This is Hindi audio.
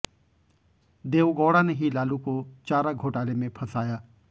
देवगौड़ा ने ही लालू को चारा घोटाले में फंसाया